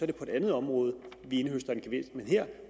det på et andet område vi indhøster en gevinst men her